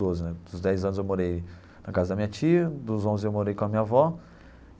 Doze né dos dez anos eu morei na casa da minha tia, dos onze eu morei com a minha avó.